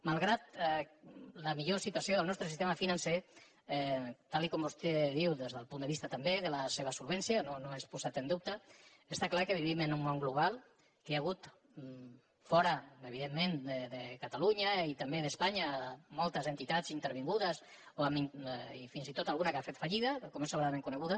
malgrat la millor situació del nostre sistema financer tal com vostè diu des del punt de vista també de la seva solvència no no és posat en dubte està clar que vivim en un món global que hi ha hagut fora evident·ment de catalunya i també d’espanya moltes entitats intervingudes i fins i tot alguna que ha fet fallida com és sobradament conegut